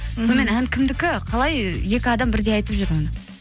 сонымен ән кімдікі қалай екі адам бірдей айтып жүр оны